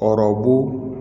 Hɔrɔn